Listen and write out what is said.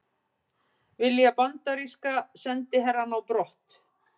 Vilja bandaríska sendiherrann á brott